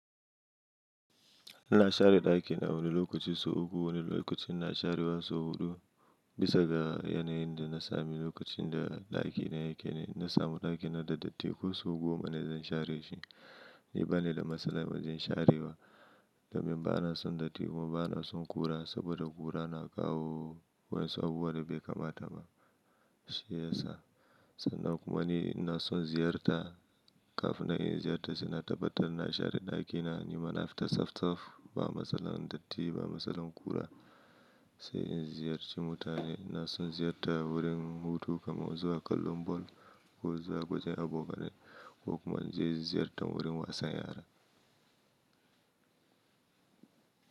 Ina share ɗakina wani lokacin sau uku, wani lokacin ina sharewa sau huɗu. Bisa ga yanayin da na sami lokacin da ɗakina yake ne. Na samu ɗakina da datti ko sau goma ne zan share shi. Ni ba ni da matsala wajen sharewa. Domin bana son datti kuma bana son ƙura saboda ƙura na kawo wasu abubuwan da bai kamata ba, shi ya sa. Sannan kuma ni ina son ziyarta. Kafin in yi ziyarta sai na tabbatar na share ɗakina. Ni ma na fita sap sap, ba matsalar datti ba matsalar ƙura sai in ziyarci mutane. Na son ziyarta wurin hutu kamar zuwa kallon ball ko zuwa wajen abokanai ko kuma ziyartar wurin wasan yara.